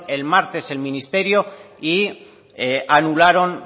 el martes el ministerio y anularon